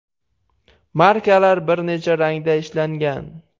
Markalar bir necha rangda ishlangan.